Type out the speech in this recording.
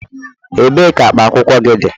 Ebee ka akpa akwụkwọ ur dị